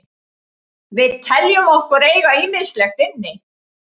Við teljum okkur eiga ýmislegt inni.